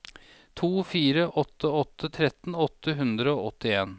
to fire åtte åtte tretten åtte hundre og åttien